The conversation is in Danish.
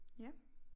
Ja